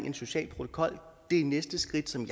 en social protokol det er næste skridt som